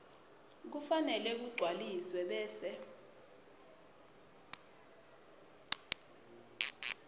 kufanele kugcwaliswe bese